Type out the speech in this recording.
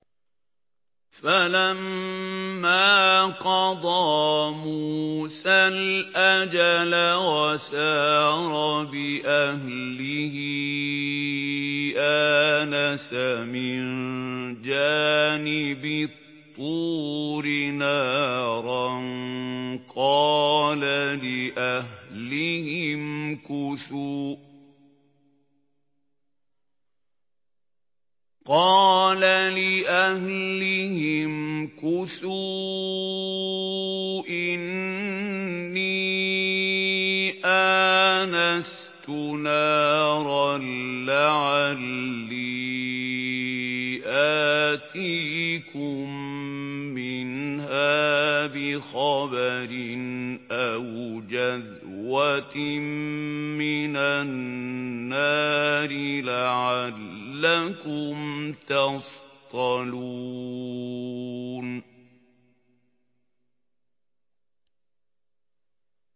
۞ فَلَمَّا قَضَىٰ مُوسَى الْأَجَلَ وَسَارَ بِأَهْلِهِ آنَسَ مِن جَانِبِ الطُّورِ نَارًا قَالَ لِأَهْلِهِ امْكُثُوا إِنِّي آنَسْتُ نَارًا لَّعَلِّي آتِيكُم مِّنْهَا بِخَبَرٍ أَوْ جَذْوَةٍ مِّنَ النَّارِ لَعَلَّكُمْ تَصْطَلُونَ